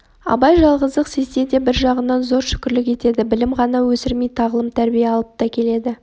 абай жалғыздық сезсе де бір жағынан зор шүкірлік етеді білім ғана өсірмей тағлым-тәрбие алып та келеді